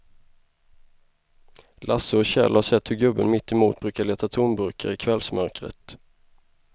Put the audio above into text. Lasse och Kjell har sett hur gubben mittemot brukar leta tomburkar i kvällsmörkret.